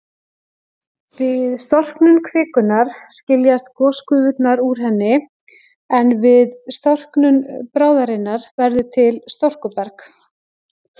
Við storknun kvikunnar skiljast gosgufurnar úr henni, en við storknun bráðarinnar verður til storkuberg.